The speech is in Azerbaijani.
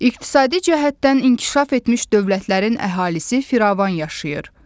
İqtisadi cəhətdən inkişaf etmiş dövlətlərin əhalisi firavan yaşayır.